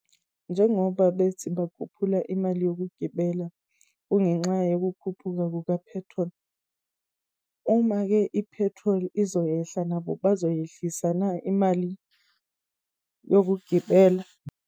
Njengoba bethi bakhuphula imali yokugibela, kungenxa yokukhuphula kuka-petrol. Uma-ke i-petrol izoyehla, nabo bazoyehlisa na imali yokugibela?